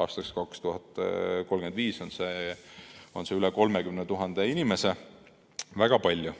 aastaks 2035 on see üle 30 000 inimese, väga palju.